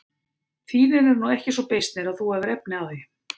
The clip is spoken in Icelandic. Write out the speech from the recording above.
Þínir eru nú ekki svo beysnir að þú hafir efni á því.